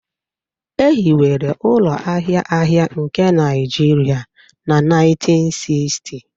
E hiwere ụlọ ahịa ahịa nke Naijiria na 1960